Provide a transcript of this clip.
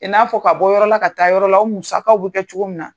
I n'a fɔ ka bɔ yɔrɔ la ka taa yɔrɔ la o musakaw bɛ kɛ cogo min na.